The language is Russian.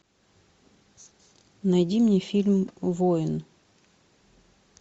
найди мне фильм воин